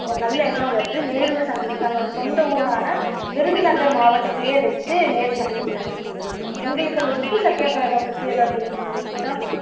ஒரு நல்ல எண்ணம் வருது தன்னோட சொந்த ஊரான விருதுநகர் மாவட்டத்துலய வச்சு நேரு சந்திக்கிறார் உங்களுக்கு அந்த உப்பு சத்தியா கிரகத்தை பத்தி ஏதாவது தெரியுமா